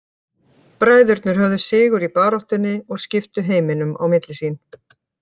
Bræðurnir höfðu sigur í baráttunni og skiptu heiminum á milli sín.